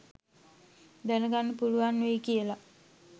දැන ගන්න පුළුවන් වෙයි කියලා